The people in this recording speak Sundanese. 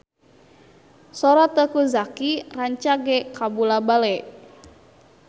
Sora Teuku Zacky rancage kabula-bale